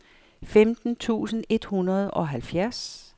femten tusind et hundrede og halvfjerds